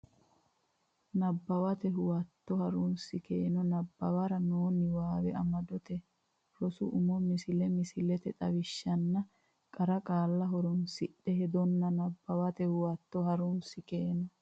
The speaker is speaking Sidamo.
Nabbawate Huwato Ha runsi keeno nabbabbara noo niwaawe amadote rosu umo misile misilete xawishshanna qara qaalla horonsidhe heddanno Nabbawate Huwato Ha runsi keeno.